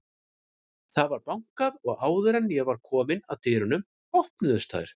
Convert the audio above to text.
Það var bankað og áður en ég var komin að dyrunum, opnuðust þær og